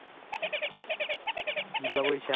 ਮਤਲਬ ਇਸ਼ਾਰੇ